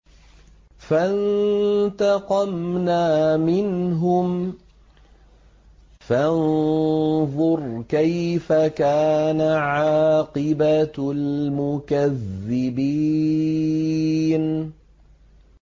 فَانتَقَمْنَا مِنْهُمْ ۖ فَانظُرْ كَيْفَ كَانَ عَاقِبَةُ الْمُكَذِّبِينَ